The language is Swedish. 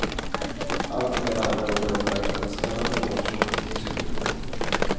Allt är med andra ord upplagt för en spännande vårsäsong i tysk fotboll.